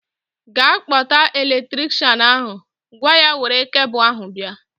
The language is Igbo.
Ga kpọta elektrikshan ahu! Gwa ya were kebul ahu bịa